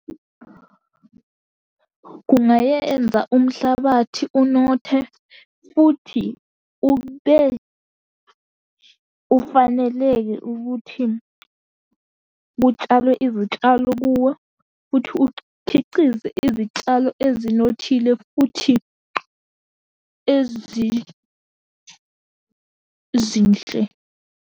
Kungayenza umhlabathi unothe, futhi ube ufaneleke ukuthi kutshalwe izitshalo kuwo, futhi ukhicize izitshalo ezinothile, futhi ezizinhle.